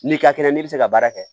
N'i ka kɛnɛ n'i bɛ se ka baara kɛ